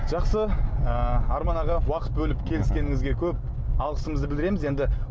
жақсы ы арман аға уақыт бөліп келіскеніңізге көп алғысымызды білдіреміз енді